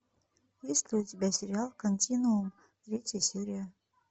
есть ли у тебя сериал континуум третья серия